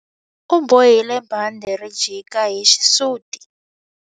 U bohile bandhi ri jika hi xisuti.